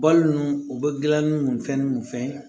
Balo nunnu u bɛ gilanni nun fɛn ninnu fɛn